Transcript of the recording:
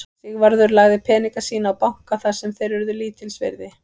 Sigvarður lagði peninga sína á banka þar sem þeir urðu lítils virði.